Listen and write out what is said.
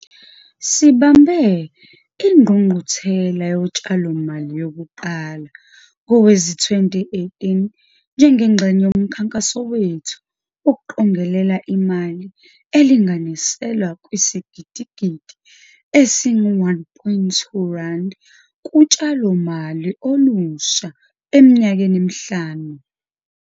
Sibambe Ingqungquthela Yotshalomali yokuqala ngowezi-2018 njengengxenye yomkhankaso wethu wokuqongelela imali elinganiselwa kwisigidigidi esi-R1.2 kutshalomali olusha eminyakeni emihlanu.